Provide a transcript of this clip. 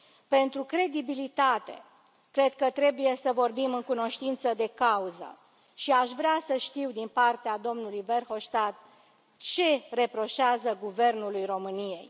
Pentru credibilitate, cred că trebuie să vorbim în cunoștință de cauză și aș vrea să știu din partea domnului Verhofstadt ce reproșează Guvernului României.